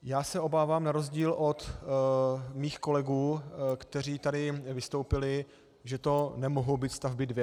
Já se obávám na rozdíl od svých kolegů, kteří tady vystoupili, že to nemohou být stavby dvě.